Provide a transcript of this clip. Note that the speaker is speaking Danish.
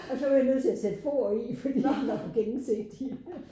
Og så var jeg nødt til at sætte for i fordi den var gennemsigtig